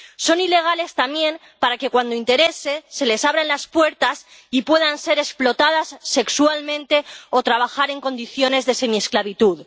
Son ilegales también para que, cuando interese, se les abran las puertas y puedan ser explotados sexualmente o trabajar en condiciones de semiesclavitud.